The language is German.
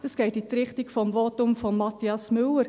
Das geht in die Richtung des Votums vom Mathias Müller.